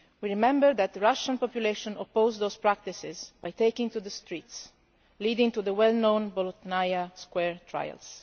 Remember that the Russian population opposed those practices by taking to the streets, leading to the well-known Bolotnaya Square trials.